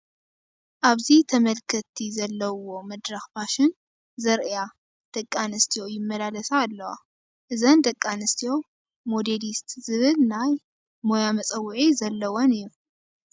ኣብዚ ተመልከትቲ ዘለዉዎ መድረኽ ፋሽን ዘርእያ ደቂ ኣንስትዮ ይመላለሳ ኣለዋ፡፡ እዘን ደቂ ኣንስትዮ ሞዴሊስት ዝብና ናይ ሞያ መፀውዒ ዘለወን እዩ፡፡